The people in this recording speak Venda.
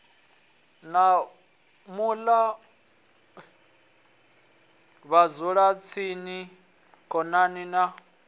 ya muṱa vhadzulatsini khonani na